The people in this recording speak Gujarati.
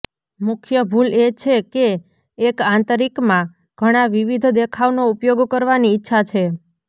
મુખ્ય ભૂલ એ છે કે એક આંતરિકમાં ઘણાં વિવિધ દેખાવનો ઉપયોગ કરવાની ઇચ્છા છે